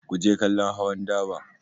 Ku je kallon hawan daba!